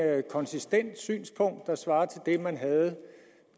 konsistent synspunkt der svarer til det man havde